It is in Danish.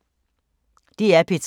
DR P3